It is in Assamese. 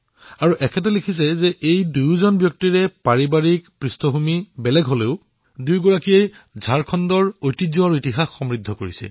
আৰু আগলৈ তেওঁ লিখিছে যে এই দুয়োটা ব্যক্তিত্বই হল দুটা ভিন্ন পাৰিবাৰিক পৃষ্ঠভূমিৰ আৰু দুয়োগৰাকীয়ে ঝাৰখণ্ডৰ ইতিহাসক সমৃদ্ধ কৰিছে